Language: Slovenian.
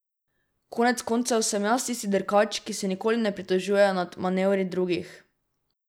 Konec koncev, sem jaz tisti dirkač, ki se nikoli ne pritožuje nad manevri drugih.